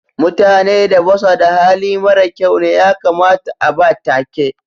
Mutane da basu da Hali mara kyau ne ya kamata a'ba take.